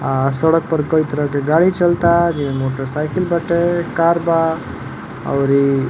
आ सड़क पे कई तरह के गाड़ी चलता जेमें मोटरसाइकिल बाटे कार बा औरी --